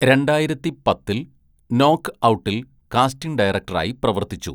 രണ്ടായിരത്തി പത്തില്‍ നോക്ക് ഔട്ടിൽ കാസ്റ്റിംഗ് ഡയറക്ടറായി പ്രവർത്തിച്ചു.